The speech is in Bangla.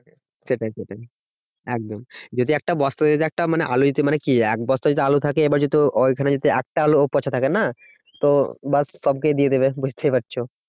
সেটাই সেটাই একদম যদি একটা বস্তার ভিতরে একটা মানে আলু যদি মানে কি এক বস্তা যদি আলু থাকে এবার যেহেতু ঐখানে যদি একটা আলুও পচা থাকে না তো ব্যাস সবকেই দিয়ে দেবে। বুঝতেই পারছো